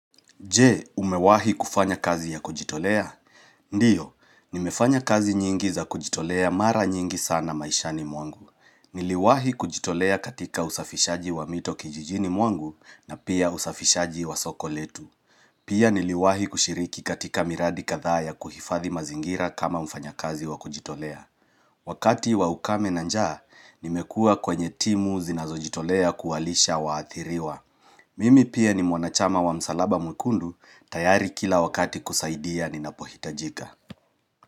Je, umewahi kufanya kazi ya kujitolea? Ndiyo, nimefanya kazi nyingi za kujitolea mara nyingi sana maishani mwangu. Niliwahi kujitolea katika usafishaji wa mito kijijini mwangu na pia usafishaji wa soko letu. Pia niliwahi kushiriki katika miradi kadhaa ya kuhifadhi mazingira kama mfanyakazi wa kujitolea. Wakati wa ukame na njaa, nimekuwa kwenye timu zinazojitolea kuwalisha waathiriwa. Mimi pia ni mwanachama wa msalaba mwekundu tayari kila wakati kusaidia ninapohitajika.